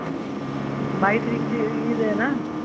ਬਾਈ ਤਰੀਕ ਦੀ ਈਦ ਐ ਨਾ